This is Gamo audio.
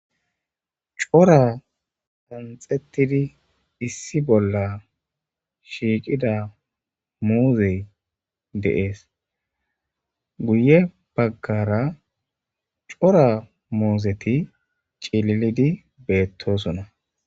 cora qanxettidi issi bolla shiiqida muuzey deees guye baggara cora muuzeti cililidi beettosona